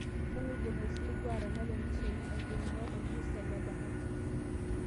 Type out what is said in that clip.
kanu aidim aisiligu atanapa eneshaina aitung'uaa orbusta le bahati